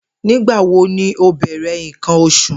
Nigbawo ni o bẹrẹ nkan oṣu?